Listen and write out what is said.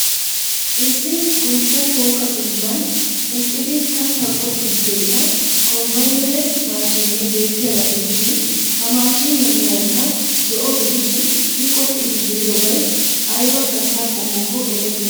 Issi goshshaa shooqaa dembbaan eqqidi kattaa qoxxiidi de'iya kombbaynere maashshinne beettiyaagaa gidishiin ha maashiniya meraykka zo'o gidishiin I qoxxiidi diyobay ayba katta qommokko erettenna.